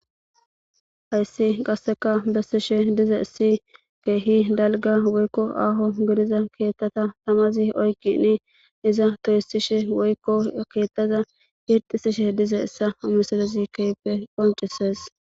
hayssi qasseka bessishe diza issi keehi dalga woykko aaho gidiza keettata tamazi oykini iza toyusishe woykko keettaza yirxisishe diza issa amasalezi keype qoncises